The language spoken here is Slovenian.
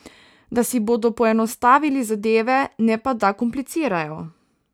Da si bodo poenostavili zadeve, ne pa da komplicirajo.